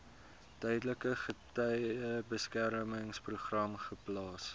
tydelike getuiebeskermingsprogram geplaas